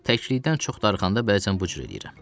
Təklikdən çox darıxanda bəzən bu cür eləyirəm.